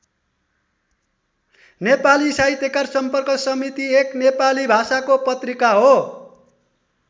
नेपाली साहित्यकार सम्पर्क समिति एक नेपाली भाषाको पत्रिका हो।